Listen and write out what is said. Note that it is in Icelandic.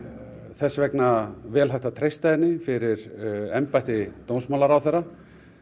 þess vegna vel hægt að treysta henni fyrir embætti dómsmálaráðherra